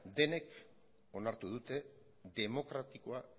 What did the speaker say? denok onartu dute demokratikoa